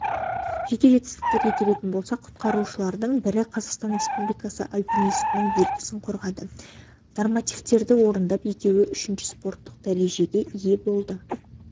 жеке жетістіктерге келетін болсақ құтқарушылардың бірі қазақстан республикасы альпинистінің белгісін қорғады нормативтерді орындап екеуі үшінші спорттық дәрежеге ие болды